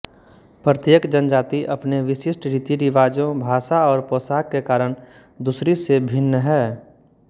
प्रत्येक जनजाति अपने विशिष्ट रीतिरिवाजों भाषा और पोशाक के कारण दूसरी से भिन्न है